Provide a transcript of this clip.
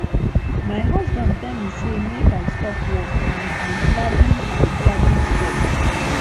my husband tell me say make i stop work and i gladly i gladly stop